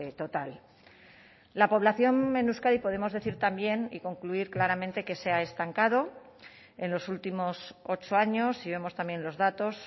total la población en euskadi podemos decir también y concluir claramente que se ha estancado en los últimos ocho años y vemos también los datos